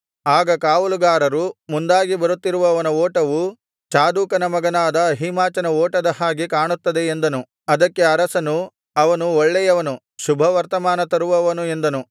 ಆಗ ಕಾವಲುಗಾರನು ಮುಂದಾಗಿ ಬರುತ್ತಿರುವವನ ಓಟವು ಚಾದೋಕನ ಮಗನಾದ ಅಹೀಮಾಚನ ಓಟದ ಹಾಗೆ ಕಾಣುತ್ತದೆ ಎಂದನು ಅದಕ್ಕೆ ಅರಸನು ಅವನು ಒಳ್ಳೆಯವನು ಶುಭವರ್ತಮಾನ ತರುವವನು ಎಂದನು